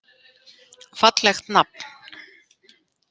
Fallegt nafn.